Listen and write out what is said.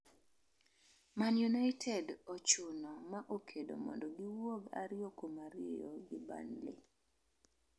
Man United ochuno ma okedo mondo giwuogi ariyo kuom ariyo gi Burnley